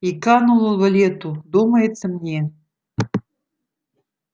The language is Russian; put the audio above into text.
и канул в лету думается мне